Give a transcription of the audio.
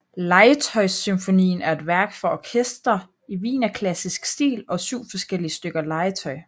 Legetøjssymfonien er et værk for orkester i wienerklassisk stil og syv forskellige stykker legetøj